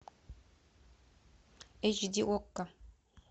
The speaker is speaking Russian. эйч ди окко